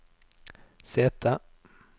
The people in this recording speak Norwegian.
sete